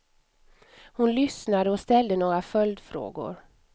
Hon lyssnade och ställde några följdfrågor.